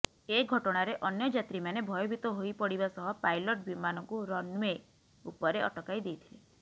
ଏ ଘଟଣାରେ ଅନ୍ୟ ଯାତ୍ରୀମାନେ ଭୟଭୀତ ହୋଇପଡ଼ିବା ସହ ପାଇଲଟ୍ ବିମାନଟିକୁ ରନ୍େଓ୍ବ ଉପରେ ଅଟକାଇ ଦେଇଥିଲେ